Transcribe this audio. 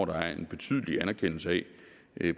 der er en betydelig anerkendelse af